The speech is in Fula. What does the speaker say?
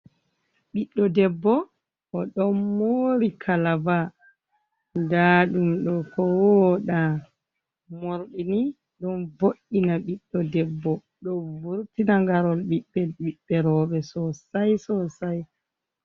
Ɓiɗdo debbo o ɗon mori kalaba nda ɗum ɗo ko woɗa, mordini ɗon boɗɗi na ɓiɗdo debbo ɗo vurtina garol ɓiɓɓe ɓiɓɓe roɓɓe sosai sosai.